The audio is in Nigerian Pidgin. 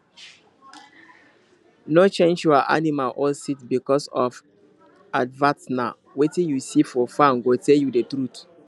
no change your animal or seed because of advertna wetin you see for farm go tell you the truth